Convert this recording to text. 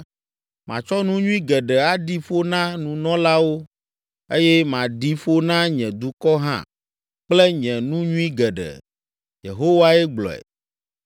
Matsɔ nu nyui geɖe aɖi ƒo na nunɔlawo eye maɖi ƒo na nye dukɔ hã kple nye nu nyui geɖe.” Yehowae gblɔe.